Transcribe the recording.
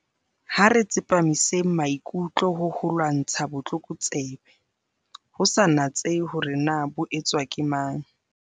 Ha re tsepamiseng maikutlo ho ho lwantsha botlokotsebe, ho sa natsehe hore na bo etswa ke mang.